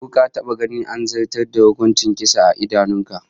Ko ka taba ganin an zartas da hukuncin kisa a idanun ka?